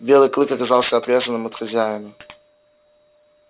белый клык оказался отрезанным от хозяина